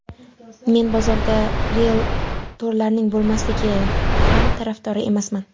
Men bozorda rieltorlarning bo‘lmasligi ham tarafdori emasman.